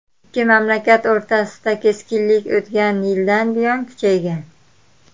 Ikki mamlakat o‘rtasida keskinlik o‘tgan yildan buyon kuchaygan.